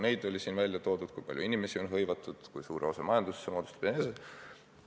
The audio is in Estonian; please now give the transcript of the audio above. Siin toodi ka välja, kui palju inimesi on hõivatud, kui suure osa majandusest see sektor moodustab.